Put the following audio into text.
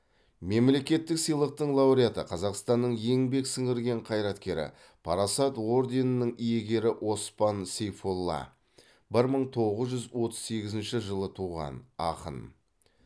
мемлекеттік сыйлықтың лауреаты қазақстанның еңбек сіңірген қайраткері парасат орденінің иегері оспан сейфолла бір мың тоғыз жүз отыз сегізінші жылы туған ақын